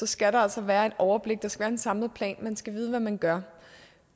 skal der altså være et overblik der skal være en samlet plan man skal vide hvad man gør